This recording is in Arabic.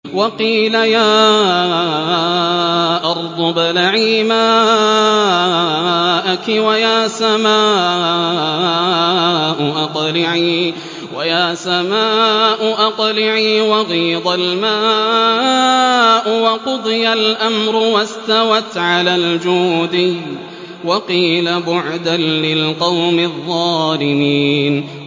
وَقِيلَ يَا أَرْضُ ابْلَعِي مَاءَكِ وَيَا سَمَاءُ أَقْلِعِي وَغِيضَ الْمَاءُ وَقُضِيَ الْأَمْرُ وَاسْتَوَتْ عَلَى الْجُودِيِّ ۖ وَقِيلَ بُعْدًا لِّلْقَوْمِ الظَّالِمِينَ